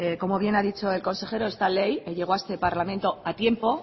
como bien ha dicho el consejero esta ley que llegó a este parlamento a tiempo